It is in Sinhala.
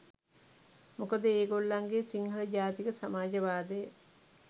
මොකද ඒ ගොල්ලන්ගේ සිංහළ ජාතික සමාජවාදය